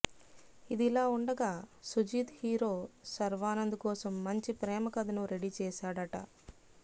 ఇదిలా ఉండగా సుజీత్ హీరో శర్వానంద్ కోసం మంచి ప్రేమకథను రెడీ చేశాడట